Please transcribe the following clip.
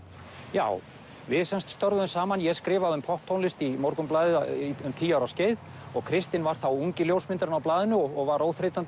já við störfuðum saman ég skrifaði um popptónlist í Morgunblaðið um tíu ára skeið og Kristinn var ungi ljósmyndarinn á blaðinu og var óþreytandi